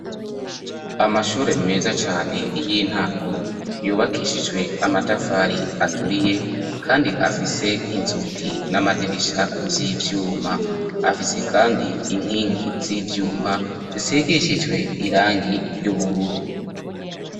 Amashure meza cane y'intango yubakishijwe amatafari aturiye kandi afise inzugi n'amadirisha vy'ivyuma, afise kandi inkingi z'ivyuma zisigishijwe irangi ry'ubururu.